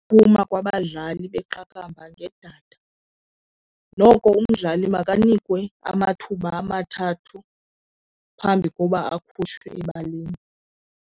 Ukuphuma kwabadlali beqakamba ngedada, noko umdlali mabanikwe amathuba amathathu phambi koba akhutshwe ebaleni.